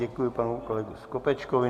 Děkuji panu kolegovi Skopečkovi.